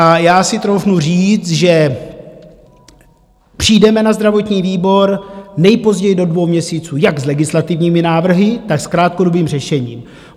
A já si troufnu říct, že přijdeme na zdravotní výbor nejpozději do dvou měsíců jak s legislativními návrhy, tak s krátkodobým řešením.